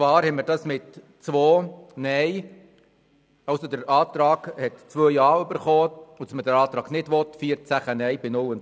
ein Antrag auf Änderung wurde mit 2 Ja-, 14 NeinStimmen und 0 Enthaltungen abgelehnt.